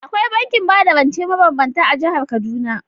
Akwai bankin bada rance mabambanta a jihar Kaduna.